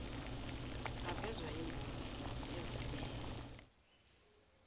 avezwa yimboni ezimmele